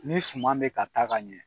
Ni suma bɛ ka taa ka ɲɛ